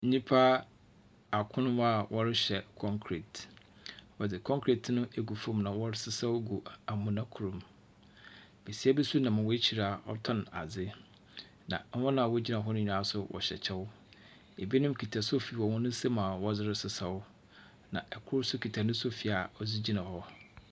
Nnipa akron a wɔrehyɛ concrete. Wɔdze concrete no egu fam na wɔresesaw gu amona kor mu. Besia bi nso nam hɔn ekyir a wɔtɔn adze, na hɔn a wogyina hɔ no nyinaa nso wɔhyɛ kyɛw. Ebinom kuta sofi w hɔn nsam a wɔdze resesaw, na kor nso kuta ne sofi ɔdze gyina hɔ.